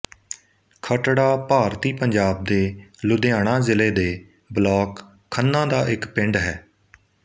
ਖੱਟੜਾ ਭਾਰਤੀ ਪੰਜਾਬ ਦੇ ਲੁਧਿਆਣਾ ਜ਼ਿਲ੍ਹੇ ਦੇ ਬਲਾਕ ਖੰਨਾ ਦਾ ਇੱਕ ਪਿੰਡ ਹੈ